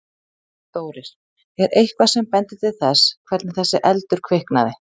Þórir: Er eitthvað sem bendir til þess hvernig þessi eldur kviknaði?